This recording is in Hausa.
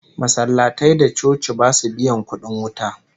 Masallatai da coci basu biyan kudin wuta